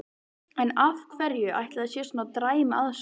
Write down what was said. En af hverju ætli að það sé svona dræm aðsókn?